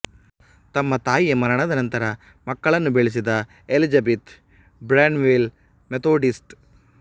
ತಮ್ಮ ತಾಯಿಯ ಮರಣದ ನಂತರ ಮಕ್ಕಳನ್ನು ಬೆಳೆಸಿದ ಎಲಿಜಬೆತ್ ಬ್ರ್ಯಾನ್ವೆಲ್ ಮೆಥೋಡಿಸ್ಟ್